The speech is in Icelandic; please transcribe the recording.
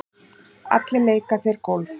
Allir leika þeir golf.